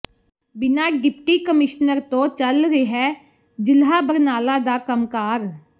ਬਿਨਾਂ deputy commissioner ਤੋਂ ਚੱਲ ਰਿਹੈ ਜ਼ਿਲ੍ਹਾ ਬਰਨਾਲਾ ਦਾ ਕੰਮਕਾਰ